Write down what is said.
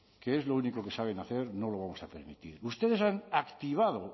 que es lo único que saben hacer no lo vamos a permitir ustedes han activado